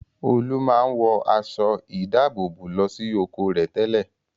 Olú máa ń wọ aṣọ-ìdáàbòbò lọ sí oko rẹ̀ tẹ́lẹ̀.